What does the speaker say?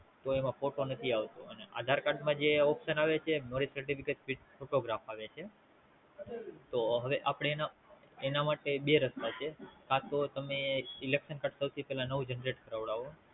તો એમાં ફોટો નથી આવતો અને આધારકાર્ડ માં જે Option આવે છે. Marriage certificate with photograph તો આપડે એમાં માટે એના મટે બે રસ્તા છે. કા તો તમે Elexon કાઢતા હોય એ પેલા નવું કઢાવો.